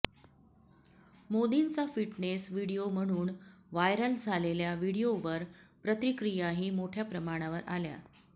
मोदींचा fitness video म्हणून viral झालेल्या व्हिडिओवर प्रतिक्रियाही मोठ्या प्रमाणावर आल्या